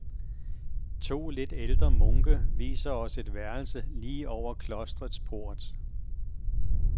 To lidt ældre munke viser os et værelse lige over klostrets port.